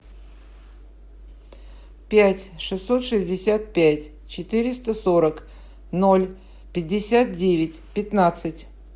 пять шестьсот шестьдесят пять четыреста сорок ноль пятьдесят девять пятнадцать